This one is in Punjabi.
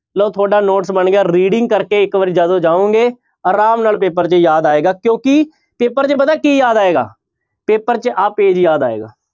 ਲਓ ਤੁਹਾਡਾ notes ਬਣ ਗਿਆ reading ਕਰਕੇ ਇੱਕ ਵਾਰ ਜਦੋਂ ਜਾਓਗੇ ਆਰਾਮ ਨਾਲ ਪੇਪਰ 'ਚ ਯਾਦ ਆਏਗਾ ਕਿਉਂਕਿ ਪੇਪਰ 'ਚ ਪਤਾ ਕੀ ਯਾਦ ਆਏਗਾ, ਪੇਪਰ 'ਚ ਆਹ page ਯਾਦ ਆਏਗਾ।